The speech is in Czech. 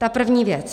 Ta první věc.